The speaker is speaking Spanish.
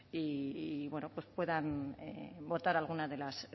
y bueno pues puedan votar algunas de las